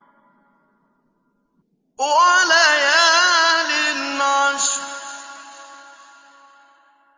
وَلَيَالٍ عَشْرٍ